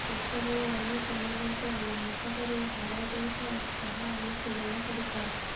ଯେତେବେଳେ ଆମେ ସେମାନଙ୍କୁ ଆମ ନିକଟରୁ ହରାଇ ଦେଇଥାଉ ତାହା ଆମକୁ ଜଣାପଡିଥାଏ